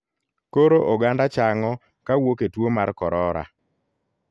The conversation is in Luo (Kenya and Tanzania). Koro oganda chang'o kawuok e tuo mar korora.